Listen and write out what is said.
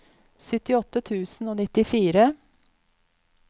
syttiåtte tusen og nittifire